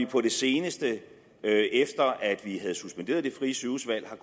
på det seneste efter at vi havde suspenderet det frie sygehusvalg har